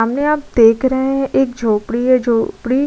सामने आप देख रहे हैं एक झोपड़ी हैझोपड़ी --